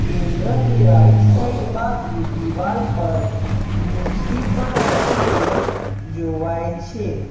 કેન્દ્રની right side બાજુ દિવાલ પર નુસી પણ લખેલો જોવાય છે.